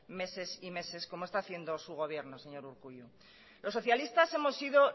meses y meses como está haciendo su gobierno señor urkullu los socialistas hemos sido